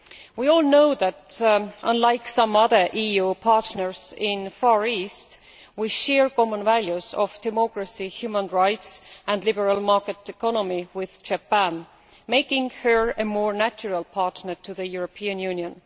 We all know that, unlike some other EU partners in the Far East, we share common values of democracy, human rights and the liberal market economy with Japan, making her a more natural partner for the European Union.